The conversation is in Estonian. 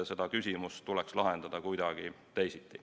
See küsimus tuleks lahendada kuidagi teisiti.